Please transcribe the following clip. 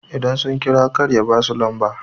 idan sun kira kar ya ba su lamba?